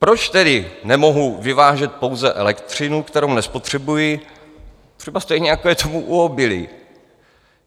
Proč tedy nemohu vyvážet pouze elektřinu, kterou nespotřebuji, třeba stejně, jako je tomu u obilí?